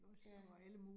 Ja